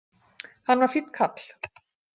Hann var fínn karl.